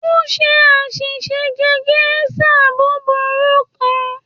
O ṣe aṣiṣe jẹ geisha buburu kan.